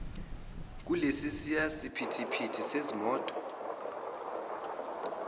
kulesiya siphithiphithi sezimoto